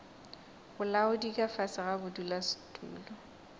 bolaodi ka fase ga bodulasetulo